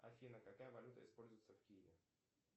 афина какая валюта используется в киеве